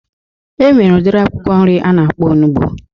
E nwere udiri akwụkwọ nri a na-akpọ onugbu